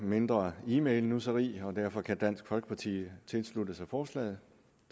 mindre e mail nusseri og derfor kan dansk folkeparti tilslutte sig forslaget